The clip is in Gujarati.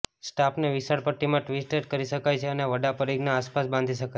સ્કાર્ફને વિશાળ પટ્ટીમાં ટ્વિસ્ટેડ કરી શકાય છે અને વડા પરિઘના આસપાસ બાંધી શકાય છે